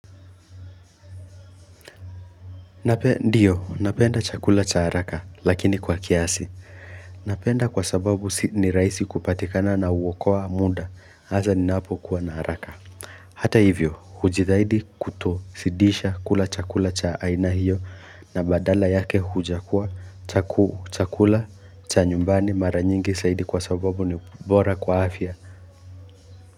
Ndio napenda chakula cha haraka lakini kwa kiasi napenda kwa sababu ni rahisi kupatikana na huokoa muda hasa ninapo kuwa na haraka Hata hivyo hujithaidi kuto sidisha kula chakula cha aina hiyo na badala yake huja kuwa chaku chakula cha nyumbani mara nyingi saidi kwa sababu ni bora kwa afya.